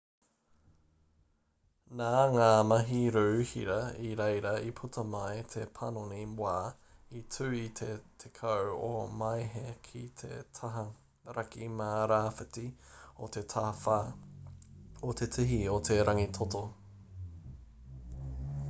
nā ngā mahi rū hira i reira i puta mai te panoni wā i tū i te 10 o māehe ki te taha raki mā rāwhiti o te tawhā o te tihi o te rangitoto